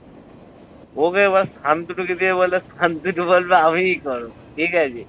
ওকে এবার বলবে আমিই করবো ঠিক আছে।